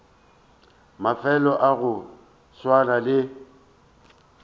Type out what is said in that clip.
mafelo a go swana le